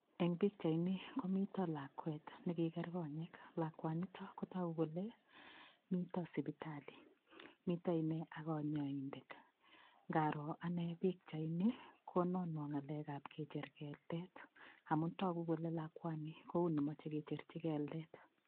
Eng' pikchaini komito lakwet nekiker konyek lakwanito kotoku kole mito sipitali mito ine ak konyoindet ngaro ane pikchaini kononwo ng'alekab kecher keldet amun toku kole lakwani kou ni moche kecherchi keldet